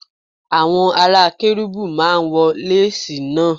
Àwọn ará Kérúbù máa ń wọ lásìì náà.